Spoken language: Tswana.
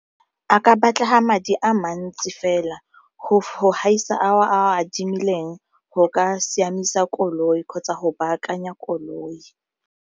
A ka batlega madi a mantsi fela go gaisa a o adimileng go ka siamisa koloi kgotsa go baakanya koloi.